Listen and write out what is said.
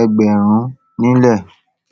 ẹgbààrún nílẹ